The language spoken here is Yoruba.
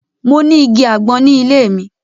Mo ni igi agbọn ni ile mi.